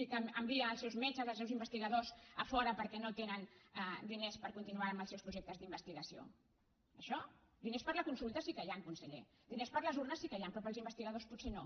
i que envia els seus metges els seus investigadors a fora perquè no tenen diners per continuar amb els seus projectes d’investigació això diners per a la consulta sí que n’hi han conseller diners per a les urnes sí que n’hi han però per als investigadors potser no